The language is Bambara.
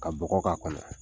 Ka bɔgɔ k'a kɔnɔ.